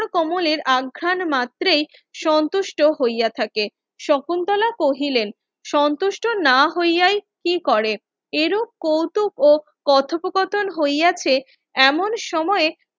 কমলের অঘ্রান মাত্রেই সন্তুষ্ট হইয়া থাকে শকুন্তলা কহিলেন সন্তুষ্ট না হইয়াই কি করে এর কৌতুক ও কথোপ কথন হইয়াছে এমন সময়ে